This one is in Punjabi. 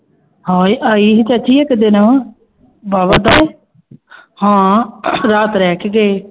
ਹਾਂ ਇਹ ਆਈ ਸੀ ਚਾਚੀ ਇੱਕ ਦਿਨ ਬਾਵਾ ਹਾਂ ਰਾਤ ਰਹਿ ਕੇ ਗਈ।